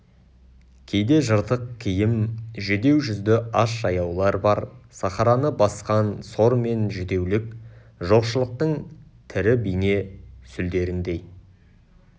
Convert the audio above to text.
кейде жыртық киім жүдеу жүзді аш жаяулар бар сахараны басқан сор мен жүдеулік жоқшылықтың тірі бейне сүлдеріндей